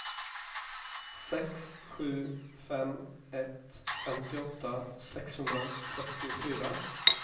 sex sju fem ett femtioåtta sexhundrafyrtiofyra